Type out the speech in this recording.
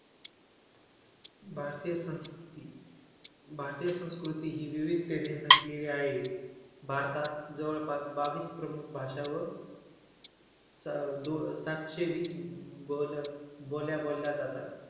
भारतीय संस्कृती भारतीय संस्कृती ही विविधतेने नटलेली आहे. भारतात जवळपास बावीस प्रमुख भाषा व स दो सातशे वीस बोलबोल्या बोलल्या जातात.